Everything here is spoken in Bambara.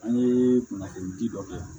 An ye kunnafoni di dɔ kɛ yan